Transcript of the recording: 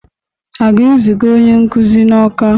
A ga-eziga onye nkuzi n'Awka?